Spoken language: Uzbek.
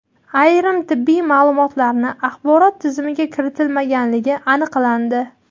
ayrim tibbiy ma’lumotlarni axborot tizimiga kiritilmaganligi aniqlandi.